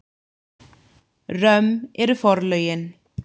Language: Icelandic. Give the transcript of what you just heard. Römm eru forlögin.